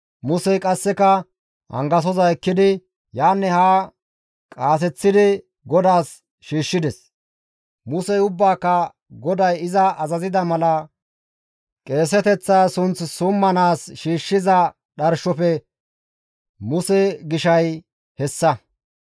Musey qasseka angasoza ekkidi yaanne haa qaaseththidi GODAAS shiishshides; Musey ubbaaka GODAY iza azazida mala qeeseteththa sunth summanaas shiishshiza dharshofe Muse gishay hessa.